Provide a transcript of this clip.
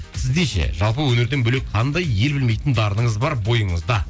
сізде ше жалпы өнерден бөлек қандай ел білмейтін дарыныңыз бар бойыңызда